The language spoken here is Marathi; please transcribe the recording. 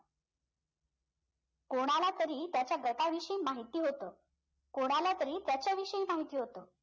कोणाला तरी त्याच्या गटाविषयी माहिती होतं कोणाला तरी त्याच्या विषयी माहिती होतं